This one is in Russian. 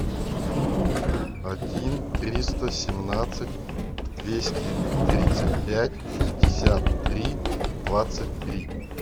один триста семнадцать двести тридцать пять шестьдесят три двадцать три